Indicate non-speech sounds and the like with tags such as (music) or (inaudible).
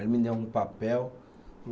Aí me deu um papel, (unintelligible)